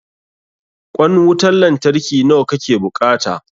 Ƙwan wutan lantarki nawa ka ke buƙata?